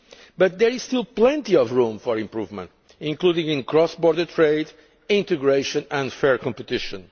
But there is still plenty of room for improvement, including in cross border trade, integration and fair competition.